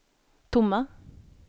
tomma